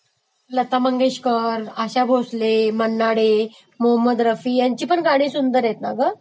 लता मंगेशकर, आशा भोसले, मन्ना डे, मोहम्मद रफी, यांचीपण गाणी सुंदर आहेत ना ग